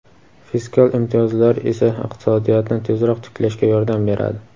fiskal imtiyozlar esa iqtisodiyotni tezroq tiklashga yordam beradi.